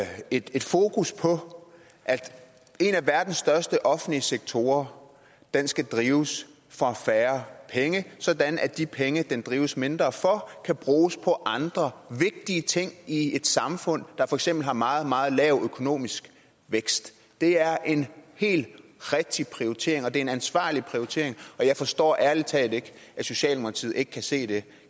er et fokus på at en af verdens største offentlige sektorer skal drives for færre penge sådan at de penge den drives mindre for kan bruges på andre vigtige ting i et samfund der for eksempel har meget meget lav økonomisk vækst det er en helt rigtig prioritering og det er en ansvarlig prioritering og jeg forstår ærlig talt ikke at socialdemokratiet ikke kan se det